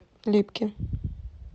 липки